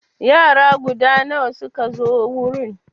Yara guda nawa suka zo wurin?